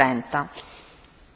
Pani Przewodnicząca!